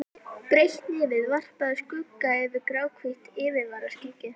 Breitt nefið varpaði skugga yfir gráhvítt yfirvaraskeggið.